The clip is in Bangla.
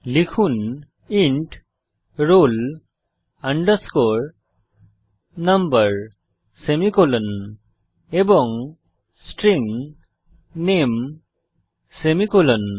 লিখুন ইন্ট roll number সেমিকোলন এবং স্ট্রিং নামে সেমিকোলন